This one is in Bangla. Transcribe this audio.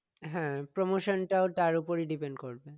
হ্যাঁ promotion টাও তার ওপরই depend করবে